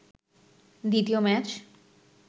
দ্বিতীয় ম্যাচ